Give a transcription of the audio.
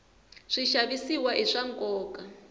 swixavisiwa i swa nkoka